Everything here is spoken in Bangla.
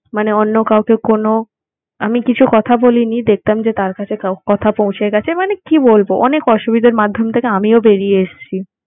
মানে অন্য কাউকে কোন আমি কিছু কথা বলিনি দেখলাম যে তার কাছে কথা পৌঁছে গেছে। মানে কি বলবো? অনেক অসুবিধার মাধ্যম থেকে আমিও বেরিয়ে এসছি।